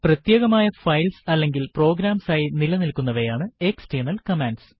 പ്രത്യേകമായ ഫൈൽസ് അല്ലെങ്കിൽ പ്രോഗ്രാംസ് ആയി നില നിൽക്കുന്നവയാണ് എക്സ്റ്റെർണൽ കമാൻഡ്സ്